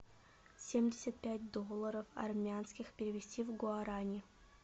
семьдесят пять долларов армянских перевести в гуарани